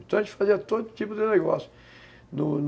Então, a gente fazia todo tipo de negócio, do